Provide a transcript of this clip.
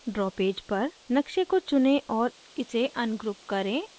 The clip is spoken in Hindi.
draw पेज पर नक़्शे को चुनें और इसे ungroup करें